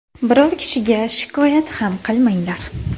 Biror kishiga shikoyat ham qilmaganlar.